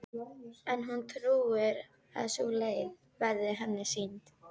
En hún trúir að sú leið verði henni sýnd.